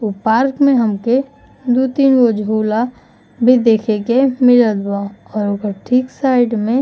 ओ park में हमके दू तीन गो झूला भी देखे के मिलत बा और ओकर ठीक साइड में --